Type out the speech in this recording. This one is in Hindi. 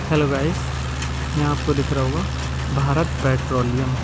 हेलो गाइस यहां आपको दिख रहा होगा भारत पेट्रोलियम।